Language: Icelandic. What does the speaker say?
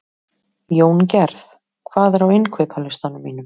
Jóngerð, hvað er á innkaupalistanum mínum?